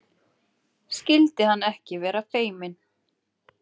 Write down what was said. Skyldi hann ekki vera feiminn?